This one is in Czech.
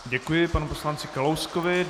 Děkuji panu poslanci Kalouskovi.